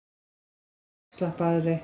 Er mun afslappaðri